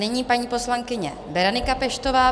Nyní paní poslankyně Berenika Peštová.